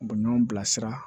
U bɛ ɲɔgɔn bilasira